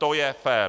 To je fér.